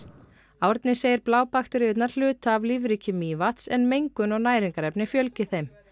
Árni segir hluta af lífríki Mývatns en mengun og næringarefni fjölgi þeim